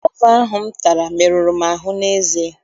Gova ahụ m tara meruru m ahụ n'eze.